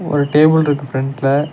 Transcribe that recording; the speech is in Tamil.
ஒரு டேபிள்ருக்கு ஃபிரண்ட்ல .